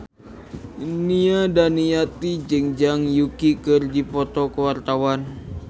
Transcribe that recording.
Nia Daniati jeung Zhang Yuqi keur dipoto ku wartawan